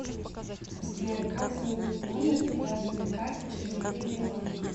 сбер как сменить номер привязанный к карте через мобильный банк